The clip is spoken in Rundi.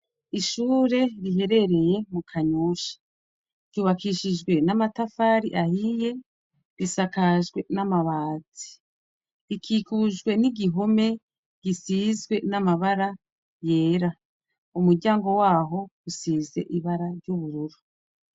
Ishure riherereye mu Kanyosha, ryubakishije n'amatafari ahiye, risakajwe n'amabati. Ikikujwe n'igihome gisize n'amabara yera, umuryango waho usize ibara ry'ubururu.